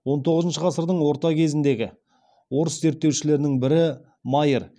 он тоғызыншы ғасырдың орта кезіндегі орыс зерттеушілерінің бірі майер